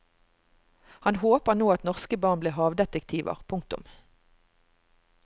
Han håper nå at norske barn blir havdetektiver. punktum